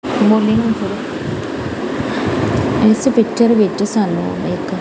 ਇਸ ਪਿਚਰ ਵਿੱਚ ਸਾਨੂੰ ਇੱਕ--